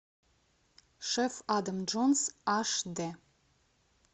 шеф адам джонс аш д